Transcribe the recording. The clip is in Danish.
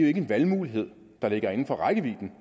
ikke en valgmulighed der ligger inden for rækkevidde